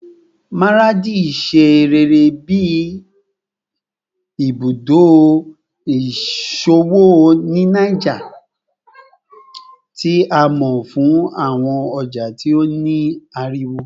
Maradi ṣe rere bi ibudo iṣowo ni Niger, ti a mọ fun awọn ọja ti o ni ariwo